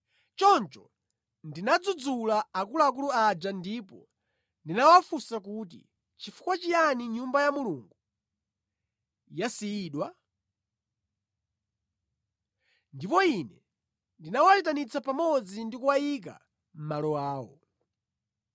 Choncho ndinadzudzula akuluakulu aja ndipo ndinawafunsa kuti, “Nʼchifukwa chiyani Nyumba ya Mulungu yasiyidwa?” Ndipo ine ndinawayitanitsa pamodzi ndi kuwayika mʼmalo awo.